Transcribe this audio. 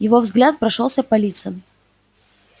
его взгляд прошёлся по лицам